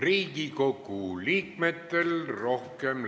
Riigikogu liikmetel rohkem ...